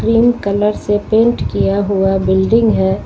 Pink colour से paint किया हुआ बिल्डिंग है।